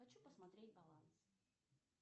хочу посмотреть баланс